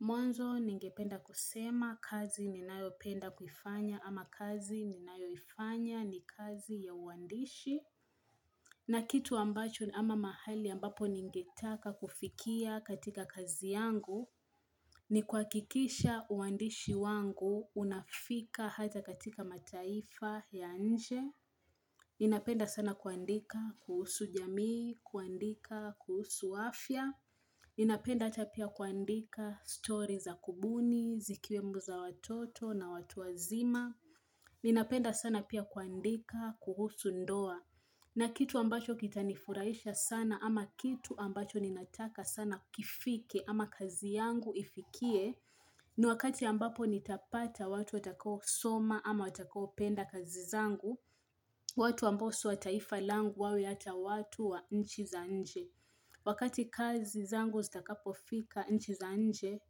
Mwanzo ningependa kusema kazi ninayopenda kuifanya ama kazi ni nayoifanya ni kazi ya uandishi. Na kitu ambacho ama mahali ambapo ningetaka kufikia katika kazi yangu ni kuhakikisha uandishi wangu unafika hata katika mataifa ya nje. Ninapenda sana kuandika kuhusu jamii, kuandika kuhusu afya. Ninapenda ata pia kuandika stories za kubuni, zikiwemo za watoto na watu wazima Ninapenda sana pia kuandika, kuhusu ndoa na kitu ambacho kitanifurahisha sana ama kitu ambacho ninataka sana kifike ama kazi yangu ifikie ni wakati ambapo nitapata watu watakao soma ama watakao penda kazi zangu watu ambao si wa taifa langu wawe hata watu wa nchi za nje Wakati kazi zangu zitakapofika nchi za nje,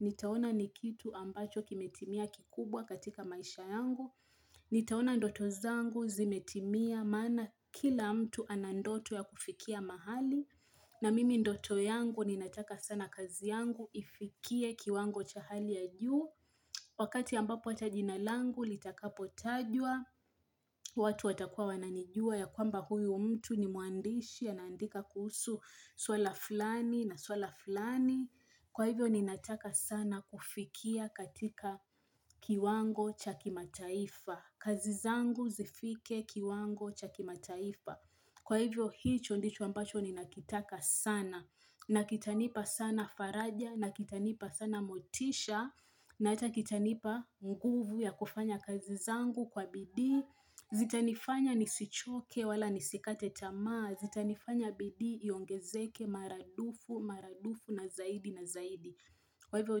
nitaona ni kitu ambacho kimetimia kikubwa katika maisha yangu, nitaona ndoto zangu zimetimia maana kila mtu ana ndoto ya kufikia mahali, na mimi ndoto yangu ninataka sana kazi yangu ifikie kiwango cha hali ya juu. Wakati ambapo hata jina langu litakapotajwa, watu watakuwa wananijua ya kwamba huyu mtu ni mwandishi anaandika kuhusu swala fulani na swala fulani. Kwa hivyo ninataka sana kufikia katika kiwango cha kimataifa. Kazi zangu zifike kiwango cha kimataifa. Kwa hivyo hicho ndicho ambacho ninakitaka sana. Na kitanipa sana faraja, na kitanipa sana motisha, na hata kitanipa nguvu ya kufanya kazi zangu kwa bidii, zitanifanya nisichoke wala nisikate tamaa, zitanifanya bidii iongezeke maradufu, maradufu na zaidi na zaidi. Kwa hivyo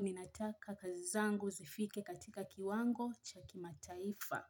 ninataka kazi zangu zifike katika kiwango cha kimataifa.